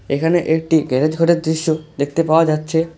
এখানে একটি গ্যারেজ ঘরের দৃশ্য দেখতে পাওয়া যাচ্ছে।